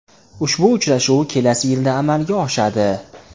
Ushbu uchrashuv kelasi yilda amalga oshadi.